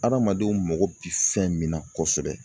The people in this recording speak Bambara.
Adamadenw mago bi fɛn min na kosɛbɛ